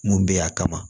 Mun bɛ a kama